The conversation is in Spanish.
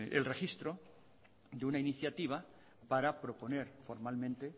el registro de una iniciativa para proponer formalmente